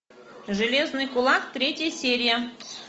железный кулак третья серия